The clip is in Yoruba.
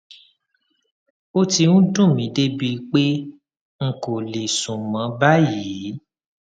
ó ti ń dùn mí débi pé n kò kò lè sùn mọ báyìí